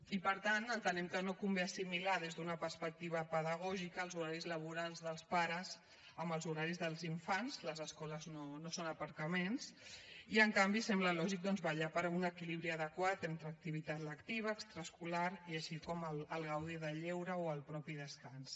i per tant entenem que no convé assimilar des d’una perspectiva pedagògica els horaris laborals dels pares amb els horaris dels infants les escoles no són aparcaments i en canvi sembla lògic doncs vetllar per un equilibri adequat entre activitat lectiva extraescolar i així com gaudir del lleure o el mateix descans